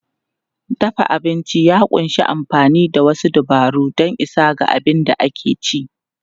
Dafa abinci ya ƙunshi amfani da wasu dabaru don isa ga abin da ake ci.